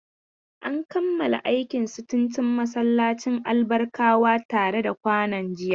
An kammala aikin sitintin masallacin Albarkawa tare da kwano jiya.